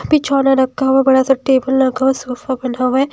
रखा हुआ है बड़ा सा टेबल रखा हुआ सोफा बना हुआ है।